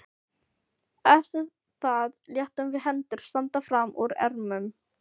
Eftir það létum við hendur standa fram úr ermum.